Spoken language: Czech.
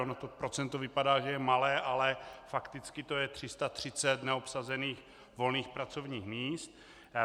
Ono to procento vypadá, že je malé, ale fakticky to je 330 neobsazených volných pracovních míst.